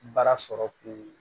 Baara sɔrɔ kun